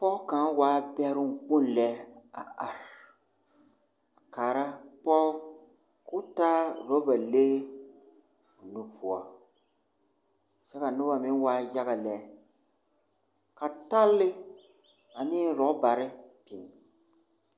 Pɔge kaŋa waa bɛroŋ kpoŋ lɛ a are a kaara pɔge ka o taa oraba lee o nu poɔ kyɛ ka noba meŋ waa yaga lɛ. ka talle ane orɔbare biŋ.